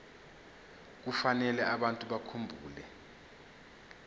kufanele abantu bakhumbule